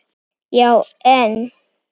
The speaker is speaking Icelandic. Já en?